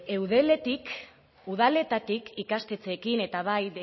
eudeletik udaletatik ikastetxeekin eta bai